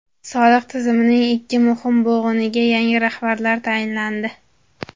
Soliq tizimining ikki muhim bo‘g‘iniga yangi rahbarlar tayinlandi.